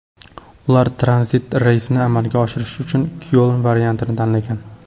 Ular tranzit reysni amalga oshirish uchun Kyoln variantini tanlagan.